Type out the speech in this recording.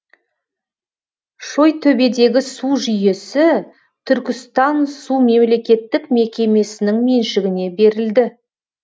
шойтөбедегі су жүйесі түркістансу мемлекеттік мекемесінің меншігіне берілді